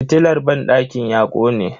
Fitilar banɗakin ya kone.